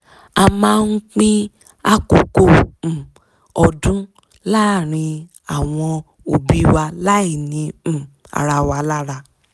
a ma ń pín àkokò um ọdún láàárín àwon òbí wa láì ni um ara wa lára